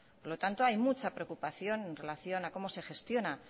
por lo tanto hay mucha preocupación en relación a cómo se gestiona